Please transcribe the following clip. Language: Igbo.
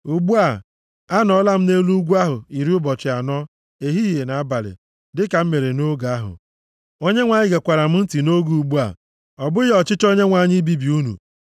Ugbu a, anọọla m nʼelu ugwu ahụ iri ụbọchị anọ, ehihie na abalị, dịka m mere nʼoge mbụ, Onyenwe anyị gekwara m ntị nʼoge ugbu a. Ọ bụghị ọchịchọ Onyenwe anyị ibibi unu.